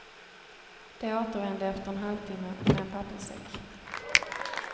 De återvände efter en halvtimme med en papperssäck.